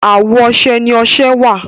àwọ ọsẹ ní ọsẹ wá.